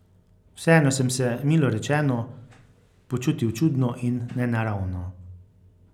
Vseeno sem se, milo rečeno, počutil čudno in nenaravno.